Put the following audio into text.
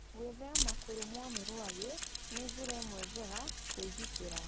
Gwĩthema kũrũmũo nĩ rwagĩ nĩ njĩra ĩmwe njega ya kwĩgitĩra.